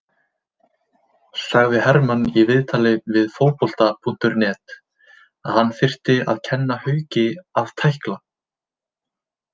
Sagði Hermann í viðtali við Fótbolta.net að hann þyrfti að kenna Hauki að tækla.